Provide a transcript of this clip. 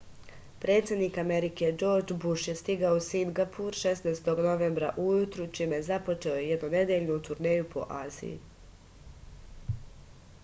predsednik amerike džordž buš je stigao u singapur 16. novembra ujutru čime je započeo jednonedeljnu turneju po aziji